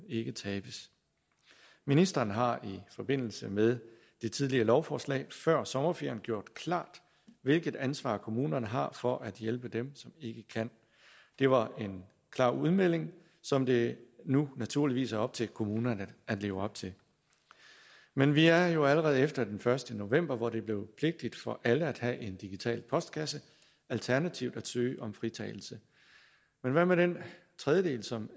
ikke tabes ministeren har i forbindelse med et tidligere lovforslag før sommerferien gjort klart hvilket ansvar kommunerne har for at hjælpe dem som ikke kan det var en klar udmelding som det nu naturligvis er op til kommunerne at leve op til men vi er jo allerede efter den første november hvor det blev pligtigt for alle at have en digital postkasse alternativt at søge om fritagelse men hvad med den tredjedel som